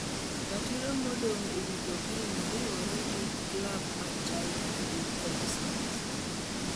ratiro modong ewi jakeenya riwore gi clab ma China gi Ksh.